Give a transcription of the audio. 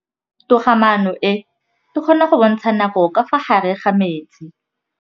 Toga-maanô e, e kgona go bontsha nakô ka fa gare ga metsi.